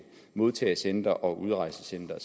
modtagecentre og udrejsecentre